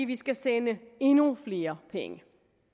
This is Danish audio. vi skal sende endnu flere penge